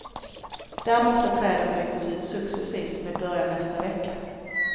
Där måste träden bytas ut successivt med början nästa vecka.